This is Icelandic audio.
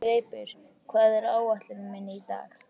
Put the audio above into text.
Greipur, hvað er á áætluninni minni í dag?